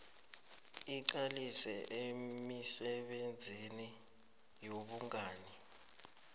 iqalise emisebenzini yobungani